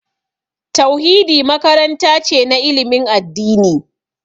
Tauhidi makaranta ce na ilimin addini